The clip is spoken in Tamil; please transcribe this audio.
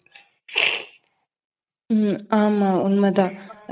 உம் ஆமா உண்ம தான்.